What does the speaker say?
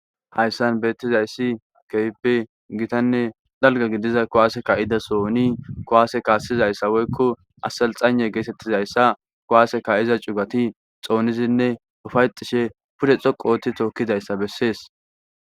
Hayssan bettizayssi keehippe giittanne dalgga gidiza kuwase ka'ida sohonni kuwase kasizayssa woykko aselxaynne gettetizayss kuwase ka'iza cuuggatti xonisinne uufayetishe pudde xoqu ootti tookidayssa besses.